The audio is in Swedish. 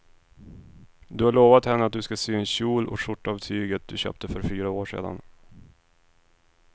Du har lovat henne att du ska sy en kjol och skjorta av tyget du köpte för fyra år sedan.